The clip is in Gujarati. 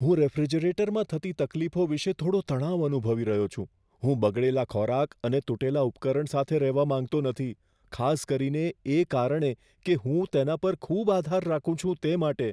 હું રેફ્રિજરેટરમાં થતી તકલીફો વિષે થોડો તણાવ અનુભવી રહ્યો છું, હું બગડેલા ખોરાક અને તૂટેલા ઉપકરણ સાથે રહેવા માંગતો નથી, ખાસ કરીને એ કારણે કે હું તેના પર ખૂબ આધાર રાખું છું તે માટે.